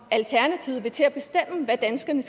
hvad danskerne